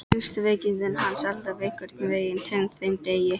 Fannst veikindi hans alltaf einhvern veginn tengd þeim degi.